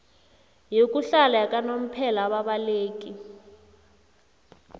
yokuhlala yakanomphela ababaleki